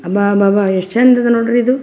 ಅಬ್ಬಬಬಾ ಎಷ್ಟ ಚಂದ್ ಇದೆ ನೋಡ್ರಿ ಇದು.